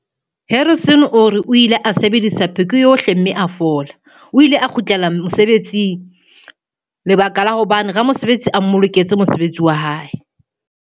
Harrison o re, "O ile a sebedisa pheko yohle mme a fola. O ile a kgutlela mose betsing ka lebaka la hobane ramosebetsi a mmoloketse mosebetsi wa hae".